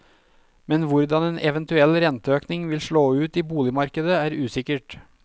Men hvordan en eventuell renteøkning vil slå ut i boligmarkedet er usikkert.